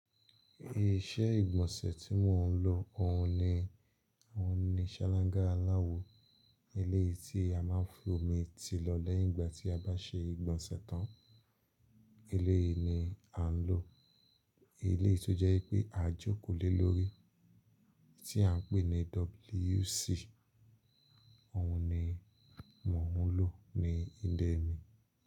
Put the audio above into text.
Iṣẹ́ ìgbọ̀nsẹ̀ tí mò ń lò, òhun ni àwọn ni ṣáláńgá aláwo. Elé tí a máa ń fi omi ti lọ lẹ́yìn ìgbà tí a bá ṣe ìgbọ̀nsẹ̀ tán, elé yìí ni à ń lò. Elé yìí tó jẹ́ pé à jókòó lé lórí tí à ń pè ní WC, òhun ni mò ń lò ní ìlẹ mi.